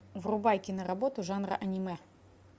врубай киноработу жанра аниме